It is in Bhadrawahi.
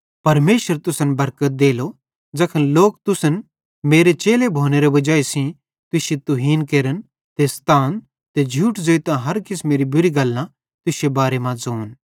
परमेशर तुसन बरकत देलो ज़ैखन लोक तुसन मेरे चेलो भोनेरे वाजाई सेइं तुश्शी तुहीन केरन ते स्तान ते झूठ ज़ोइतां हर किसमेरी बुरी गल्लां तुश्शे बारे मां ज़ोन